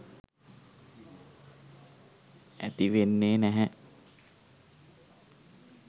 ඇති වෙන්නේ නැහැ.